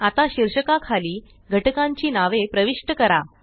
आता शीर्षका खाली घटकांची नावे प्रविष्ट करा